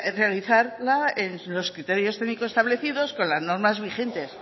realizarla en los criterios técnicos establecidos con las normas vigentes